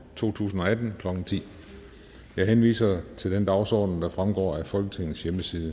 to tusind og atten klokken ti jeg henviser til den dagsorden der fremgår af folketingets hjemmeside